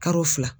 Kalo fila